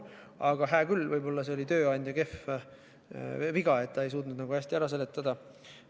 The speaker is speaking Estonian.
Aga võib-olla see oli tööandja viga, et ta ei suutnud hästi ära seletada.